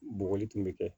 Bɔgɔli tun bɛ kɛ